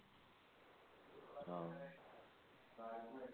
ആ